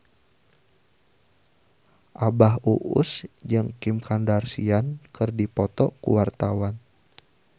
Abah Us Us jeung Kim Kardashian keur dipoto ku wartawan